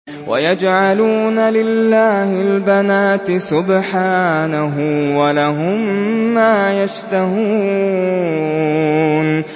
وَيَجْعَلُونَ لِلَّهِ الْبَنَاتِ سُبْحَانَهُ ۙ وَلَهُم مَّا يَشْتَهُونَ